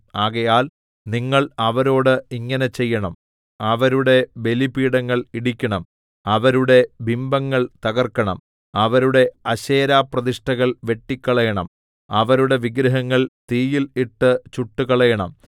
ആകയാൽ നിങ്ങൾ അവരോട് ഇങ്ങനെ ചെയ്യണം അവരുടെ ബലിപീഠങ്ങൾ ഇടിക്കണം അവരുടെ ബിംബങ്ങൾ തകർക്കണം അവരുടെ അശേരപ്രതിഷ്ഠകൾ വെട്ടിക്കളയണം അവരുടെ വിഗ്രഹങ്ങൾ തീയിൽ ഇട്ട് ചുട്ടുകളയണം